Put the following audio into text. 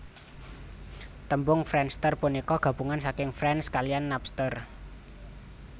Tembung friendster punika gabungan saking friends kaliyan Napster